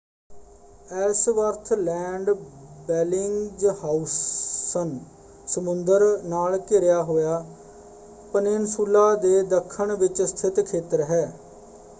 Ellsworth Land Bellingshausen ਸਮੁੰਦਰ ਨਾਲ ਘਿਰਿਆ ਹੋਇਆ ਪਨਿੱਨਸੁਲਾ ਦੇ ਦੱਖਣ ਵਿੱਚ ਸਥਿਤ ਖੇਤਰ ਹੈ।